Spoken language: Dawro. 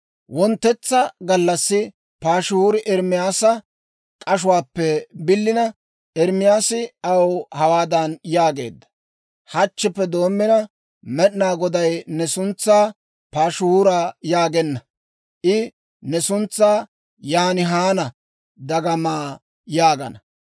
Wonttetsa gallassi Paashihuuri Ermaasa k'ashuwaappe bilina, Ermaasi aw hawaadan yaageedda; «Hachchippe doommina, Med'inaa Goday ne suntsaa Paashihuura yaagenna; I ne suntsaa Yaan Haan Dagama yaagana.